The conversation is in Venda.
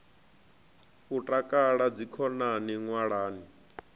u takala na dzikhonani ṅwalani